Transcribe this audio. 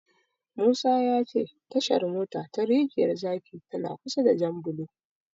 Musa ya ce Tashar mota ta Rijiyar zaki tana kusa da Janbulo.